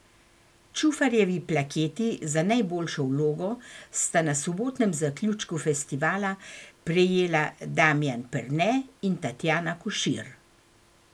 Čufarjevi plaketi za najboljšo vlogo sta na sobotnem zaključku festivala prejela Damijan Perne in Tatjana Košir.